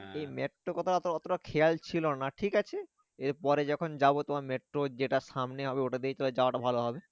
এই মেট্রো কথাটা অত, অতটা খেয়াল ছিল না ঠিক আছে এর পরে যখন যাবো তোমার মেট্রো যেটা সামনে হবে ওটা দিয়েই তাহলে যাওয়াটা ভালো হবে।